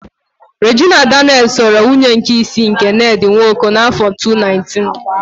Rejina Danịels ghọrọ nwunye nke isii nke Nedị Nwoko n'áfọ 2019.